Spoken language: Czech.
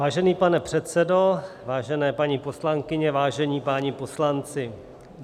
Vážený pane předsedo, vážené paní poslankyně, vážení páni poslanci.